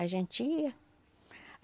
A gente ia.